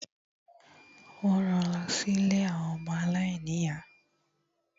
Wọ́n ran lọ sí ilé àwọn ọmọ aláìní ìyá.